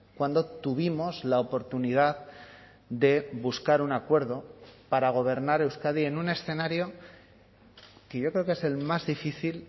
cuando tuvimos la oportunidad de buscar un acuerdo para gobernar euskadi en un escenario que yo creo que es el más difícil